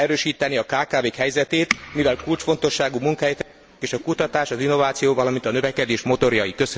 Meg kell erősíteni a kkv k helyzetét, mivel kulcsfontosságú munkái a kutatás, az innováció, valamint a növekedés motorjai.